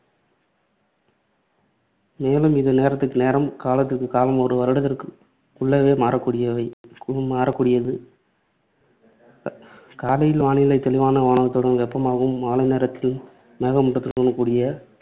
மேலும் இது நேரத்திற்கு நேரம், காலத்திற்கு காலம் ஒரு வருடத்திற்குள்ளாகவே மாறக்கூடியவை மாறக்கூடியது. அஹ் காலையில் வானிலை தெளிவான வானத்துடன் வெப்பமாகவும் மாலை நேரத்தில், மேகமூட்டத்துடன் கூடிய